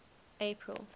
april